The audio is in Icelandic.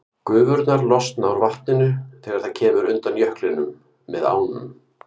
Gufurnar losna úr vatninu þegar það kemur undan jöklinum með ánum.